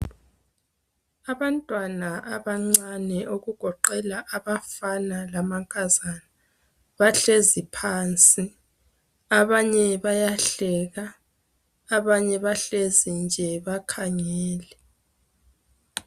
Abantwana abancane okugoqela abafana lamankazana bahlezi phansi abanye bayahleka abanye bahlezi nje bakhangele.